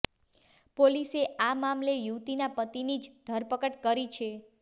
પોલીસે આ મામલે યુવતીના પતિની જ ધરપકડ કરી છે